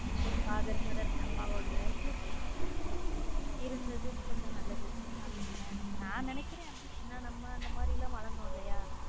ஒரு father mother இருந்தது கொஞ்சம் நல்லது நான் நினைக்கிறேன் அப்படி. ஏன்னா நம்ம அந்த மாதிரி எல்லாம் வளர்ந்தோம்ல.